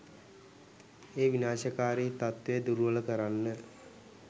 ඒ විනාශකාරී තත්ත්වය දුර්වල කරන්න